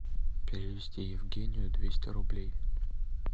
перевести евгению двести рублей